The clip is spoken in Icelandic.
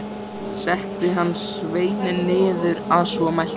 Setti hann sveininn niður að svo mæltu.